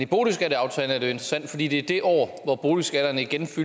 boligskatteaftalen er det jo interessant fordi det er det år hvor boligskatterne igen